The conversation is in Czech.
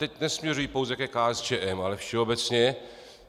Teď nesměřuji pouze ke KSČM, ale všeobecně.